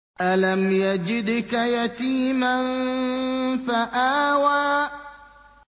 أَلَمْ يَجِدْكَ يَتِيمًا فَآوَىٰ